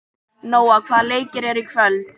Nóa, hvaða leikir eru í kvöld?